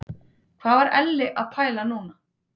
Hvað var Elli að pæla núna?